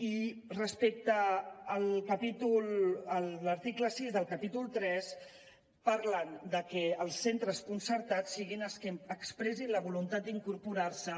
i respecte a l’article sis del capítol iii parlen de que els centres concertats siguin els que expressin la voluntat d’incorporar s’hi